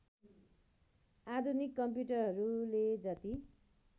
आधुनिक कम्प्युटरहरूले जति